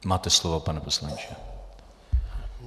Máte slovo, pane poslanče.